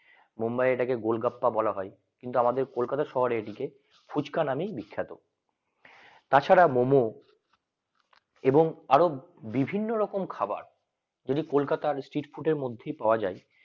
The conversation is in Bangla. মুম্বাই ওটাকে গোলগাপ্পা বলা হয় কিন্তু আমাদের কলকাতা শহরে এটিকে ফুচকা নামের বিখ্যাত তাছাড়া মোমো এবং আরো বিভিন্ন রকমের খাবার যদি কলকাতা street food এর মধ্যে পাওয়া যায়